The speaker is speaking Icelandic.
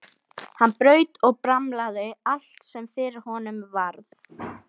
Hann braut og bramlaði allt sem fyrir honum varð.